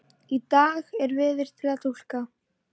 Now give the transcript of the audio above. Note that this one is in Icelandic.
Í dag er veður til að túlka